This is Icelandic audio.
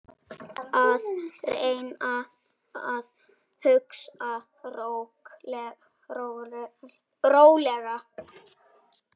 Að reyna að hugsa rökrétt